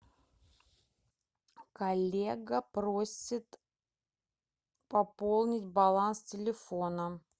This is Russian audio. коллега просит пополнить баланс телефона